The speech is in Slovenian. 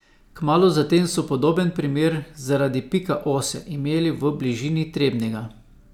Kmalu zatem so podoben primer zaradi pika ose imeli v bližini Trebnjega.